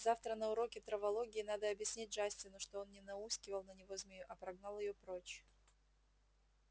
завтра на уроке травологии надо объяснить джастину что он не науськивал на него змею а прогнал её прочь